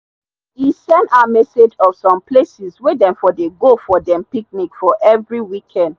he send her message of some places wey dey for dey go for dem picnic for for every weekend.